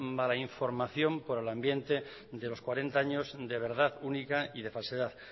mala información por el ambiente de los cuarenta años de verdad única y de falsedad